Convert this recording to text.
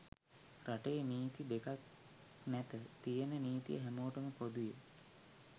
රටේ නීති දෙකක් නැත තියෙන නිතිය හැමෝටම පොදුය.